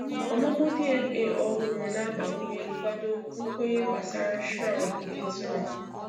Ọmụmụ DNA ọhụrụ na agbakwunye nkwado nkwenye gbasara Shroud nke Turin